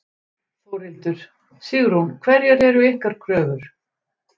Þórhildur: Sigrún, hverjar eru ykkar kröfur?